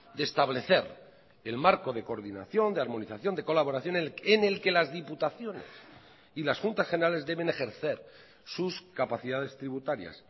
de establecer el marco de coordinación de armonización de colaboración en el que las diputaciones y las juntas generales deben ejercer sus capacidades tributarias